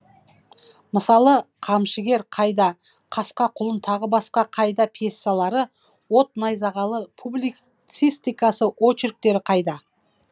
мысалы қамшыгер қайда қасқа құлын тағы да басқа қайда пьесалары от найзағалы публицистикасы очерктері қайда